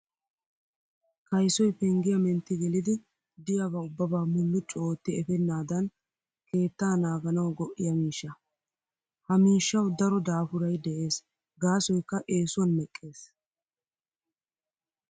Kaysoy penggiya mentti gelidi diyaba ubbaa mulluccu ootti efeennaadan keettaa naaganawu go''iya miishshaa. Ha miishshawu daro daafuray de'es gaasoykka eesuwan meqqees.